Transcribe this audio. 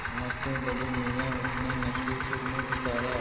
नमस्ते बड़े मियाँ उसने नक्की सुर में पुकारा